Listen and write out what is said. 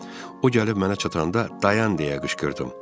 O gəlib mənə çatanda dayan deyə qışqırdım.